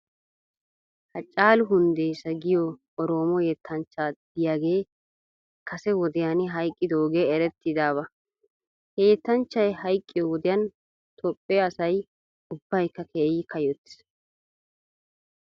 Hacaalu hundeesa giyoo oroomo yettanchcha diyaagee kase wodiyan hayqqidoogee erettiyaaba. He yettanchchay hayqqiyoo wodiyan toophphee asay ubbaykka keehippe kayyottis .